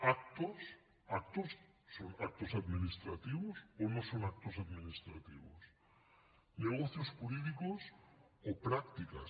actos actos són actos administrativos o no són actos administrativos negocios jurídicos o prácticas